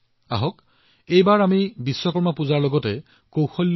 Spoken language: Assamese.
গতিকে আমি উপাসনাত বিশ্বাস ৰখাৰ লগতে ভগৱান বিশ্বকৰ্মাৰ বাৰ্তা গ্ৰহণ কৰাৰ সংকল্প লও আহক